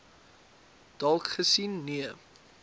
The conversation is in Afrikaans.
dalk gesien nee